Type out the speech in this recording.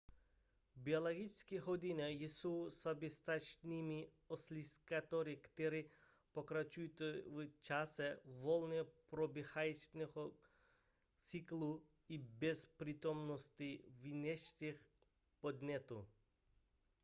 biologické hodiny jsou soběstačnými oscilátory které pokračují v čase volně probíhajícího cyklu i bez přítomnosti vnějších podnětů